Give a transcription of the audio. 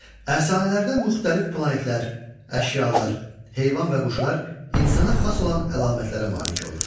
Əfsanələrdə müxtəlif planetlər, əşyalar, heyvan və quşlar insana xas olan əlamətlərə malik olur.